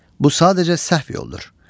Bu sadəcə səhv yoldur.